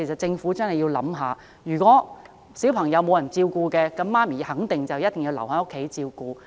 政府須知道，如果沒有人照顧小孩，那麼母親肯定要留在家中照顧。